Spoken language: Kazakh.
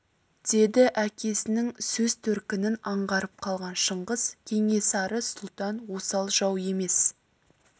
деді әкесінің сөз төркінін аңғарып қалған шыңғыс кенесары сұлтан осал жау емес